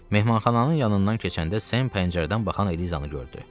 Mehmanxananın yanından keçəndə Sem pəncərədən baxan Elizanı gördü.